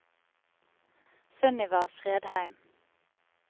Sunniva Fredheim